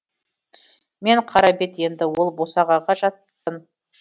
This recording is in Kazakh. мен қарабет енді ол босағаға жатпын